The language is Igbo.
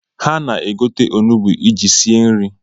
Ha- na-egote onugbu iji sie nri